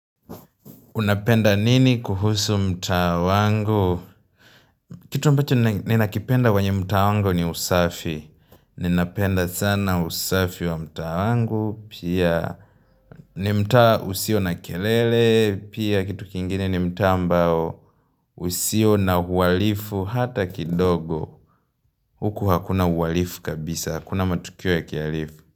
Unapenda nini kuhusu mtaa wangu? Kitu ambacho ninakipenda kwenye mtaa wangu ni usafi. Ninapenda sana usafi wa mta wangu. Pia ni mtaa usio na kelele. Pia kitu kingine ni mtaa ambao usio na uhalifu hata kidogo. Huku hakuna uhalifu kabisa. Hakuna matukio ya kialifu.